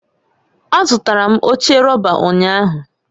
Azụtara m oche rọba ụnyahụ